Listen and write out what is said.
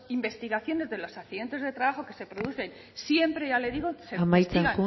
investigaciones de los accidentes de trabajo que se producen siempre ya le digo amaitzen